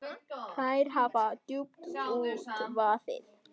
Þér hafi djúpt út vaðið.